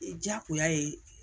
Jagoya ye